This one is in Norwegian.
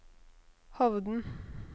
Hovden